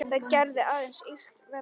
Það gerði aðeins illt verra.